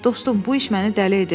Dostum, bu iş məni dəli edir.